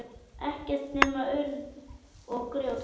Ekkert nema urð og grjót.